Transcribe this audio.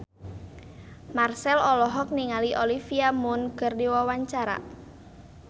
Marchell olohok ningali Olivia Munn keur diwawancara